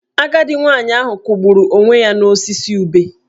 Agadi nwoke ahụ kwụgburu onwe ya n'osisi ube.